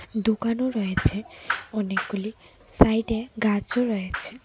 দোকানও রয়েছে অনেকগুলি সাইড -এ গাছ ও রয়েছে।